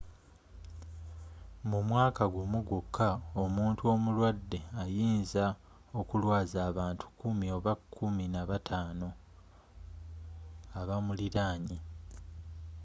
mu mwaka ggumu gwoka omuntu omulwadde ayinza okulwazza abantu kumi oba kumi na bataano abamulinanye